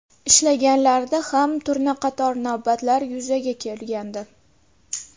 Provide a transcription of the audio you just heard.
Ishlaganlarida ham turna qator navbatlar yuzaga kelgandi.